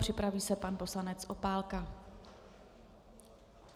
Připraví se pan poslanec Opálka.